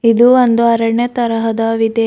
ಇದು ಒಂದು ಅರಣ್ಯ ತರಹದ ವಿದೆ.